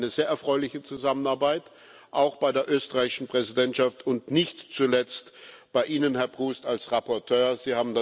Das war eine sehr erfreuliche Zusammenarbeit. Auch bei der österreichischen Präsidentschaft und nicht zuletzt bei Ihnen, Herr Proust, als Berichterstatter.